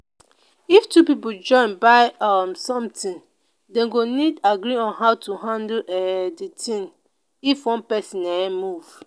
if two pipo join buy um something dem go need agree how to handle um the thing if one person um move